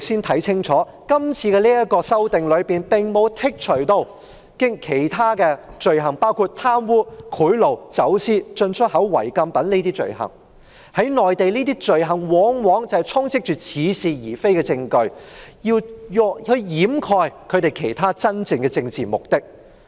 這次的修訂並無剔除貪污、賄賂、走私、進出口違禁品等罪行，在內地，這些罪行往往充斥似是而非的證據，以掩蓋真正的政治目的。